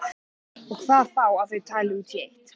Og hvað þá að þau tali út í eitt.